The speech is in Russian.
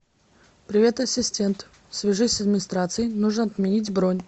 привет ассистент свяжись с администрацией нужно отменить бронь